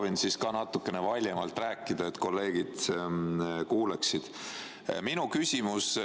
Ma proovin ka natuke valjemalt rääkida, et kolleegid kuuleksid.